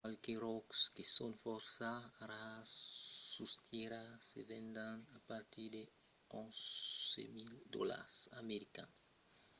qualques ròcs que son fòrça rars sus tèrra se vendon a partir d'11.000 dolars americans a 22.500$ per onça çò qu'es aperaquí dètz còps mai que lo prètz de l'aur